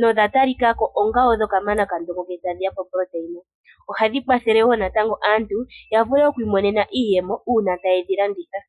no dhatalikako odho kamanakandongo ngele tashiya poproteina .ohadhi kwathele woo natango aantu yavule oku imonena iiyemo uuna taye dhilanditha.